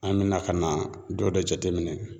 An bɛna ka na dɔ de jate minɛ